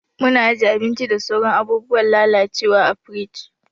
Muna ajiye abinci da sauran abun lalacewa a firiji.